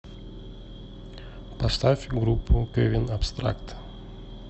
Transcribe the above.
поставь группу кевин абстракт